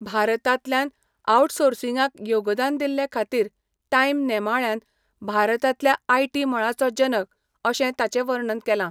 भारतांतल्यान आवटसोर्सिंगाक योगदान दिल्लेखाातीर टायम नेमाळ्यान 'भारतांतल्या आयटी मळाचो जनक' अशें ताचें वर्णन केलां.